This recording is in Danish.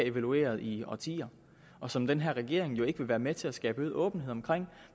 evalueret i årtier og som den her regering jo ikke vil være med til at skabe øget åbenhed